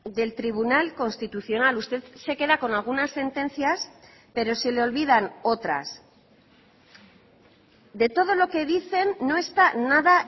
del tribunal constitucional usted se queda con algunas sentencias pero se le olvidan otras de todo lo que dicen no está nada